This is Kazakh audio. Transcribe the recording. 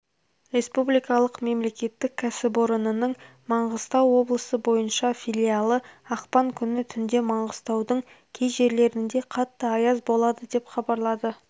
республикалық мемлекеттік кәсіпорнының маңғыстау облысы бойынша филиалы ақпан күні түнде маңғыстаудың кей жерлерінде қатты аяз болады деп хабарлады